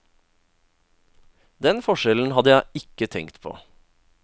Den forskjellen hadde jeg ikke tenkt på.